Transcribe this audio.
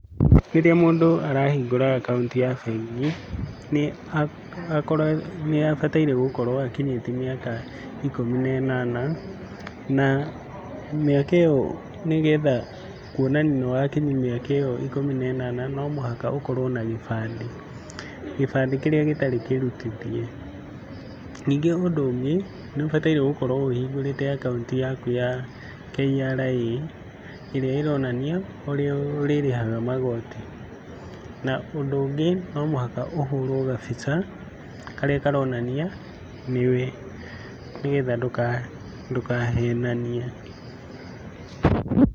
Rĩrĩa mũndũ arahingũra akaunti ya bengi, nĩabataire gũkorwo akinyĩtie mĩaka ikũmi na ĩnana na mĩaka ĩyo nĩgetha kuonania nĩwakinyia mĩaka ĩyo ikũmi na ĩnana no mũhaka ũkorwo na gĩbandĩ, gĩbandĩ kĩrĩa gĩtarĩ kĩrutithie. Ningĩ ũndũ ũngĩ nĩũbataire gũkorwo ũhingũrĩte akaunti yaku ya KRA ĩrĩa ĩronania ũrĩa ũrĩrĩhaga magoti. Na, ũndũ ũngĩ no mũhaka ũhũrwo gabica karĩa karonania nĩwe nĩgetha ndũkahenanie.